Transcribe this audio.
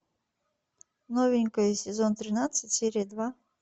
новенькая сезон тринадцать серия два